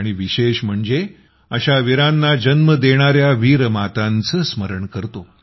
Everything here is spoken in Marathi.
आणि विशेष म्हणजे अशा वीरांना जन्म देणाऱ्या वीर मातांचे स्मरण करतो